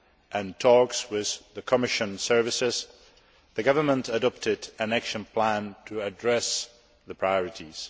and talks with the Commission services, the government adopted an action plan to address the priorities.